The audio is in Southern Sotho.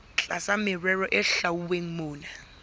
tlasa merero e hlwauweng mona